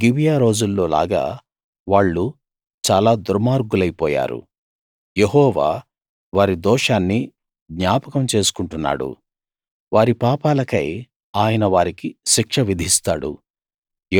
గిబియా రోజుల్లో లాగా వాళ్ళు చాలా దుర్మార్గులై పోయారు యెహోవా వారి దోషాన్ని జ్ఞాపకం చేసుకుంటున్నాడు వారి పాపాలకై ఆయన వారికి శిక్ష విధిస్తాడు